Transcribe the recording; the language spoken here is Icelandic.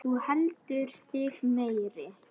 Þú heldur þig meiri.